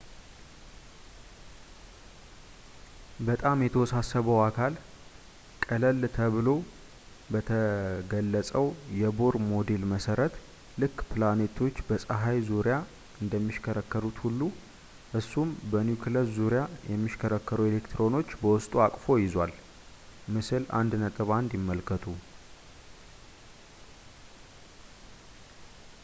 በጣም የተወሳሰበው አካል ቀለል ተብሎ በተገለፀው የቦር ሞዴል መሰረት ልክ ፕላኔቶች በፀሀይ ዙርያ እንደሚሽከረከሩት ሁሉ እሱም በኒኩለሱ ዙሪያ የሚሽከረከሩ ኤሌክትሮኖችን በውስጡ አቅፎ ይዟል - ምስል 1.1 ይመልከቱ